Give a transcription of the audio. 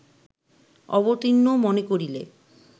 অবতীর্ণ মনে করিলে